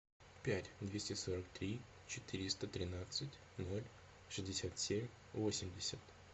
пять двести сорок три четыреста тринадцать ноль шестьдесят семь восемьдесят